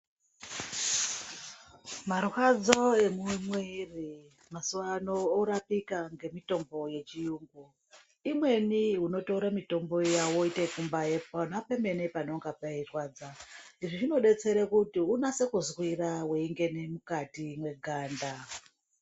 Marwadzo e mumwiri mazuva ano orapika nge mitombo yechiyungu imweni iyi onotora mitombo iya woite yeku mbai pemene panenge peyi rwadza izvi zvino detsera kuti usase kuzwira weingena mukati muganda.